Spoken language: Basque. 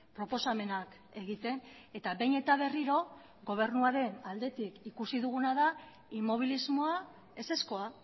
proposamenak egiten eta behin eta berriro gobernuaren aldetik ikusi duguna da inmobilismoa ezezkoa